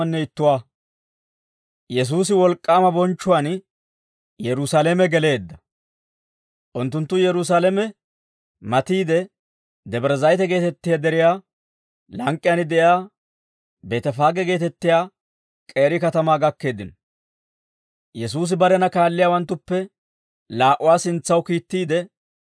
Unttunttu Yerusaalame matiide, Debre Zayite geetettiyaa deriyaa lank'k'iyaan de'iyaa Beetefaage geetettiyaa k'eeri katamaa gakkeeddino; Yesuusi barena kaalliyaawanttuppe laa"uwaa sintsaw kiittiide,